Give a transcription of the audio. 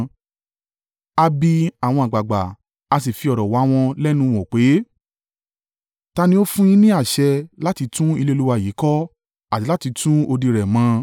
A bi àwọn àgbàgbà, a sì fi ọ̀rọ̀ wá wọn lẹ́nu wò pé, “Ta ni ó fún un yín ní àṣẹ láti tún ilé Olúwa yìí kọ́ àti láti tún odi rẹ̀ mọ?”